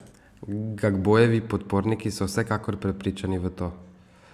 Gbagbojevi podporniki so vsekakor prepričani v to.